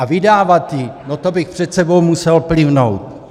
A vydávat ji, no to bych před sebou musel plivnout.